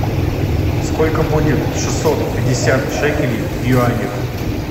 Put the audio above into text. сколько будет шестьсот пятьдесят шекелей в юанях